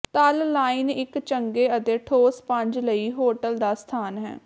ਤਲ ਲਾਈਨ ਇੱਕ ਚੰਗੇ ਅਤੇ ਠੋਸ ਪੰਜ ਲਈ ਹੋਟਲ ਦਾ ਸਥਾਨ ਹੈ